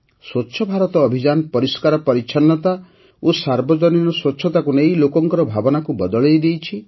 ସ୍ୱଚ୍ଛ ଭାରତ ଅଭିଯାନ ପରିଷ୍କାର ପରିଚ୍ଛନ୍ନତା ଓ ସାର୍ବଜନୀନ ସ୍ୱଚ୍ଛତାକୁ ନେଇ ଲୋକଙ୍କର ଭାବନାକୁ ବଦଳାଇ ଦେଇଛି